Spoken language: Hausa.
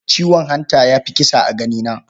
Ciwon hanta ya fi kisa a ganina.